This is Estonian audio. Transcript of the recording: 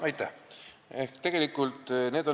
Aitäh!